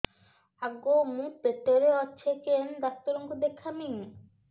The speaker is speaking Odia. ଆଗୋ ମୁଁ ପେଟରେ ଅଛେ କେନ୍ ଡାକ୍ତର କୁ ଦେଖାମି